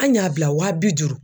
An y'a bila waa bi duuru.